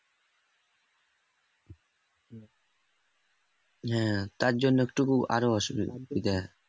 হ্যাঁ তার জন্য একটু আরও অসুবিধা